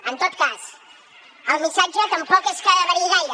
en tot cas el missatge tampoc és que variï gaire